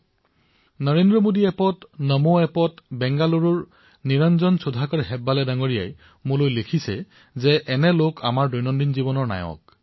মোলৈ নৰেন্দ্ৰ মোদী এপত নমো এপত বেংগালুৰুৰ নিৰঞ্জন সুধাকৰ হেব্বাল মহোদয়ে লিখিছে যে এনে লোক দৈনিক জীৱনৰ নায়ক হয়